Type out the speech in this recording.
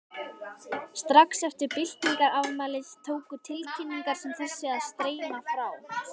Strax eftir byltingarafmælið tóku tilkynningar sem þessi að streyma frá